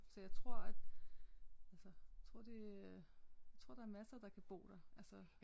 Så jeg tror at altså tror det tror der er masser der kan bo der altså